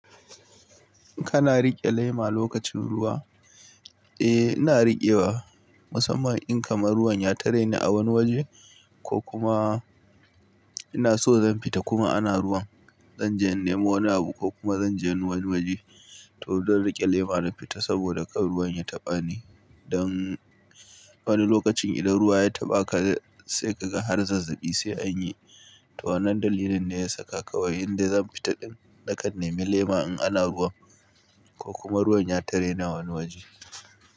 Kana riƙe lema lokacin ruwa? Eh, ina riƙewa musamman in kamar ruwan ya tare ni a wani waje ko kuma ina so zan fita kuma ana ruwan. Zan jan in nemo wani abu ko kuma zan je wani waje to zan riƙe lema na fita saboda kan ruwan ya taɓa ni. Dan wani lokacin idan ruwa ya taɓa ka sai kaga har zazzabi sai an yi. To wannan dalilin ne ya saka kawai indai zan fita ɗin na kan nemi lema in ana ruwan ko kuma ruwan ya tare ni a wani waje.